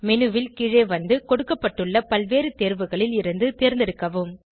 menu ல் கீழே வந்து கொடுக்கப்பட்டுள்ள பல்வேறு தேர்வுகளில் இருந்து தேர்ந்தெடுக்கவும்